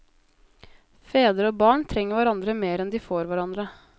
Fedre og barn trenger hverandre mer enn de får hverandre.